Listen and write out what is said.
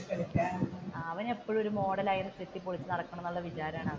അവൻ ഒരു മോഡലായിട്ട് ഇപ്പോഴും ചെത്തി പൊളിച്ചു നടക്കണമെന്നുള്ള വിചാരമാണ് അവൻ.